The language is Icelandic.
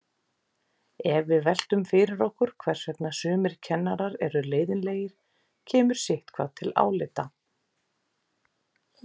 Ef við veltum fyrir okkur hvers vegna sumir kennarar eru leiðinlegir kemur sitthvað til álita.